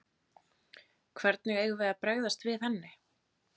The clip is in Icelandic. Hvernig eigum við að bregðast við henni?